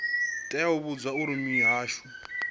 tea u vhudzwa uri mihasho